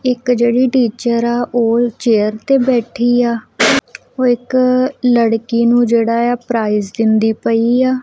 ਇੱਕ ਜਿਹੜੀ ਟੀਚਰ ਆ ਉਹ ਚੇਅਰ ਤੇ ਬੈਠੀ ਆ ਉਹ ਇੱਕ ਲੜਕੀ ਨੂੰ ਜਿਹੜਾ ਆ ਪ੍ਰਾਈਜ ਦਿੰਦੀ ਪਈ ਆ।